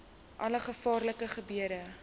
alle gevaarlike gebiede